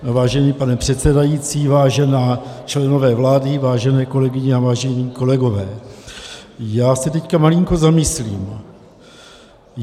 Vážený pane předsedající, vážení členové vlády, vážené kolegyně a vážení kolegové, já se teď malinko zamyslím.